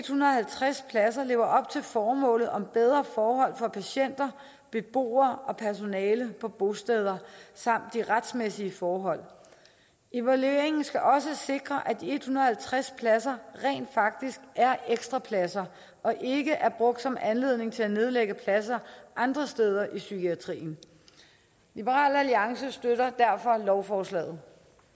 hundrede og halvtreds pladser lever op til formålet om bedre forhold for patienter beboere og personale på bosteder samt de retsmæssige forhold evalueringen skal også sikre at de en hundrede og halvtreds pladser rent faktisk er ekstra pladser og ikke er brugt som anledning til at nedlægge pladser andre steder i psykiatrien liberal alliance støtter derfor lovforslaget